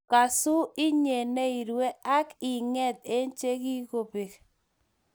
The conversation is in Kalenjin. Kasu inye ne irue , ak ing'eet eng' che kigobek.